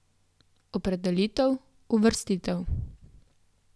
Opredelitev, uvrstitev.